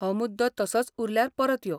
हो मुद्दो तसोच उरल्यार परत यो.